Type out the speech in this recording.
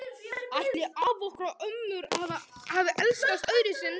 Ætli afar okkar og ömmur hafi elskast öðruvísi en við?